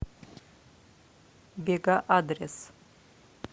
бега адрес